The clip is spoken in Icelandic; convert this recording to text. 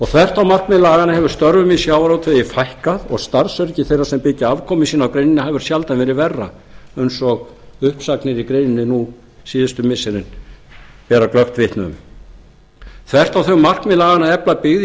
þvert á markmið laganna hefur störfum í sjávarútvegi fækkað og starfsöryggi þeirra sem byggja afkomu sína á greininni hefur sjaldan verið verra eins og uppsagnir í greininni nú síðustu missirin bera glöggt vitni um þvert á þau markmið laganna að efla byggð í